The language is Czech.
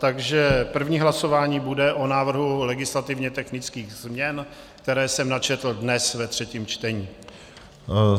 Takže první hlasování bude o návrhu legislativně technických změn, které jsem načetl dnes ve třetím čtení.